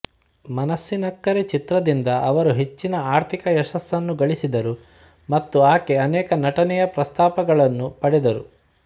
ಮನಾಸ್ಸಿನಕ್ಕರೆ ಚಿತ್ರದಿಂದ ಅವರು ಹೆಚ್ಚಿನ ಆರ್ಥಿಕ ಯಶಸ್ಸನ್ನು ಗಳಿಸಿದರು ಮತ್ತು ಆಕೆ ಅನೇಕ ನಟನೆಯ ಪ್ರಸ್ತಾಪಗಳನ್ನು ಪಡೆದರು